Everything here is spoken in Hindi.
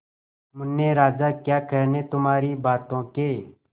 मुन्ने राजा क्या कहने तुम्हारी बातों के